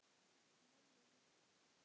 Mömmu líka?